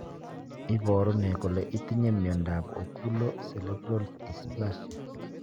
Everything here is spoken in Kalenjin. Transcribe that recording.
Iporu ne kole itinye miondap Oculo cerebral dysplasia?